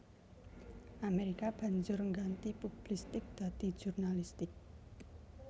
Amerika banjur ngganti publistik dadi jurnalistik